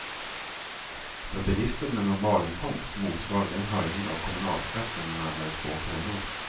För bilisten med normalinkomst motsvarar det en höjning av kommunalskatten med närmare två kronor.